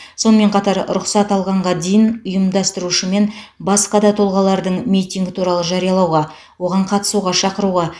сонымен қатар рұқсат алғанға дейін ұйымдастырушы мен басқа да тұлғалардың митинг туралы жариялауға оған қатысуға шақыруға